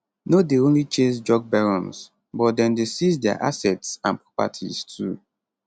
no dey only chase drug barons but dem dey seize dia assets properties too